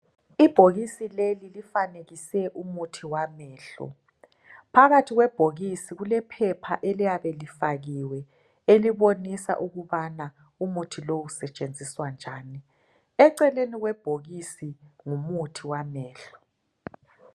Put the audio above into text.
Ibhokisi leli lifanekise umuthi wamehlo .Phakathi kwebhokisi kulephepha eliyabe lifakiwe elibonisa ukubana umuthi lowu usetshenziswa njani. Eceleni kwebhokisi ngumuthi wamehlo.